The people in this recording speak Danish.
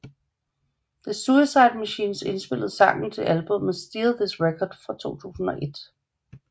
The Suicide Machines indspillede sangen til albummet Steal This Record fra 2001